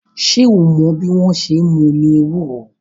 Ṣé o mọ́ bí wọ́n ṣe n mú omi ewúro?